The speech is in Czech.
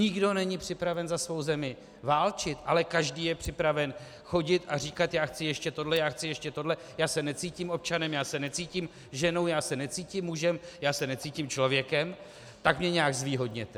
Nikdo není připraven za svou zemi válčit, ale každý je připraven chodit a říkat: já chci ještě tohle, já chci ještě tohle, já se necítím občanem, já se necítím ženou, já se necítím mužem, já se necítím člověkem, tak mě nějak zvýhodněte.